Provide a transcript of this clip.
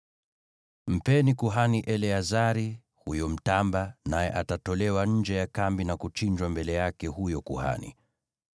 Mpeni kuhani Eleazari huyo mtamba; naye atatolewa nje ya kambi na kuchinjwa mbele yake huyo kuhani.